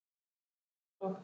Synir þeirra, Jónas og